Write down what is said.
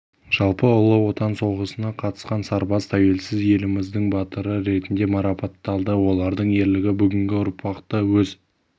жалпы ұлы отан соғысына қатысқан сарбаз тәуелсіз еліміздің батыры ретінде марапатталды олардың ерлігі бүгінгі ұрпақты өз